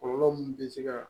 Kɔlɔlɔ mun bɛ se ka